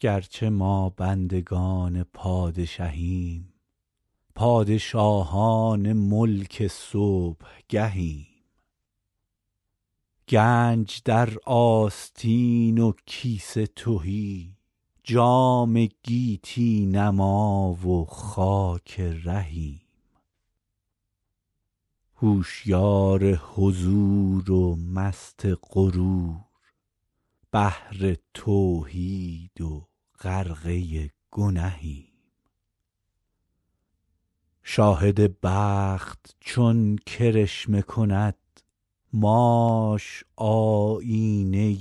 گرچه ما بندگان پادشهیم پادشاهان ملک صبحگهیم گنج در آستین و کیسه تهی جام گیتی نما و خاک رهیم هوشیار حضور و مست غرور بحر توحید و غرقه گنهیم شاهد بخت چون کرشمه کند ماش آیینه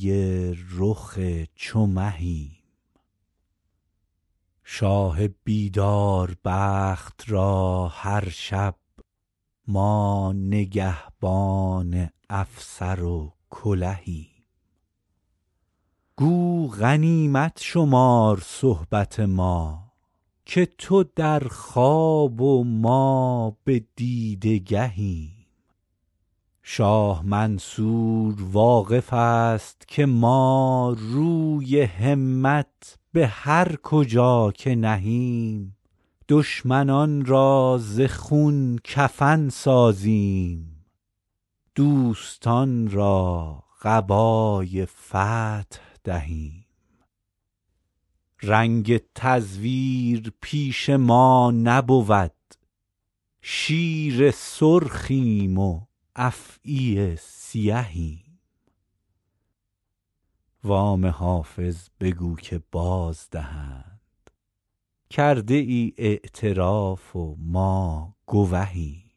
رخ چو مهیم شاه بیدار بخت را هر شب ما نگهبان افسر و کلهیم گو غنیمت شمار صحبت ما که تو در خواب و ما به دیده گهیم شاه منصور واقف است که ما روی همت به هر کجا که نهیم دشمنان را ز خون کفن سازیم دوستان را قبای فتح دهیم رنگ تزویر پیش ما نبود شیر سرخیم و افعی سیهیم وام حافظ بگو که بازدهند کرده ای اعتراف و ما گوهیم